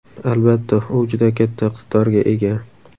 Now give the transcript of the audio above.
Albatta, u juda katta iqtidorga ega.